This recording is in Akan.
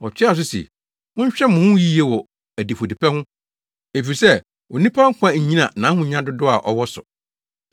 Ɔtoaa so se, “Monhwɛ mo ho yiye wɔ adifudepɛ ho efisɛ onipa nkwa nnyina nʼahonya dodow a ɔwɔ so.”